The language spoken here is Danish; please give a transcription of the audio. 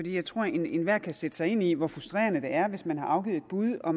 jeg tror at enhver kan sætte sig ind i hvor frustrerende det er hvis man har afgivet et bud og